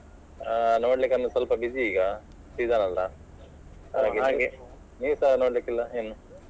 ಹ ನೋಡ್ಲಿಕ್ಕೆ ಅಂದ್ರೆ ಸ್ವಲ್ಪ busy ಈಗ season ಅಲ್ಲಾ ನೀವುಸ ನೋಡ್ಲಿಕ್ಕೆ ಇಲ್ಲಾ ಏನು?